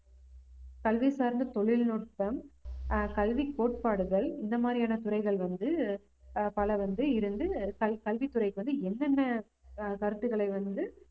கல்வி சார்ந்த தொழில்நுட்பம், ஆஹ் கல்வி கோட்பாடுகள் இந்த மாதிரியான துறைகள் வந்து ஆஹ் பல வந்து இருந்து கல்~ கல்வித்துறைக்கு வந்து என்னென்ன ஆஹ் கருத்துக்களை வந்து